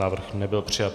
Návrh nebyl přijat.